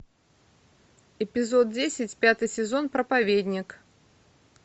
эпизод десять пятый сезон проповедник